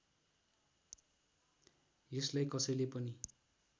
यसलाई कसैले पनि